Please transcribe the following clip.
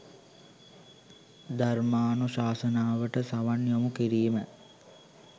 ධර්මානුශාසනාවලට සවන් යොමු කිරීම